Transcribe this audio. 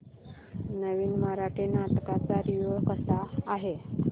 नवीन मराठी नाटक चा रिव्यू कसा आहे